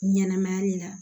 Ɲɛnɛmaya le la